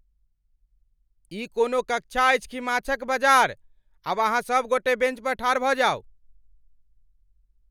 ई कोनो कक्षा अछि कि माछक बजार? आब अहाँ सभगोटे बेंच पर ठाढ़ भऽ जाउ।